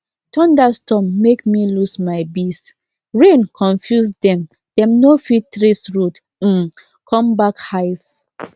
thunderstorm make me lose my beesrain confuse dem dem no fit trace road um come back hive